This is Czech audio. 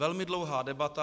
Velmi dlouhá debata.